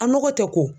A nɔgɔ tɛ ko